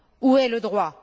Où est le droit?